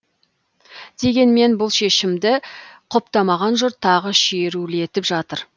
дегенмен бұл шешімді құптамаған жұрт тағы шерулетіп жатыр